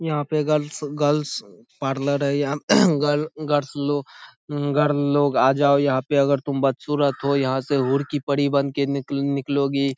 यहाँ पे girls girls parlour है यहा गल गरस्ल लो गर्ल लोग आ जाओ यहाँ पे अगर तुम बदसूरत हो यहाँ से हूर की परी बनके निकलोगी ।